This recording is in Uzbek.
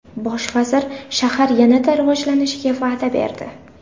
Bosh vazir shahar yanada rivojlanishiga va’da berdi.